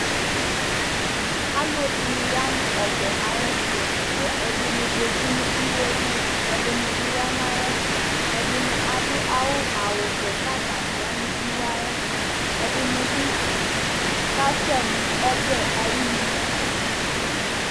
Alʋɛdìní ya nu ɔbɛ ayʋ ɛtu kʋ ɛdiní zɛti nʋ iwe Ɛdiní bi ya nʋ ayʋ ɛtu Ɛdiní adu awu vɛ kʋ atani yanʋ iwe yɛ ayʋ ɛtu Ɛdiní bi kasɛ nʋ ɔbɛ ayʋ inu nʋ ɛfɛ